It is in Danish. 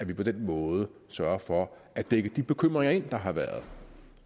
vi på den måde sørger for at dække de bekymringer der har været